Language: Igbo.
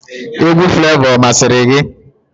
Egwu Flevọ ọ masịrị gị?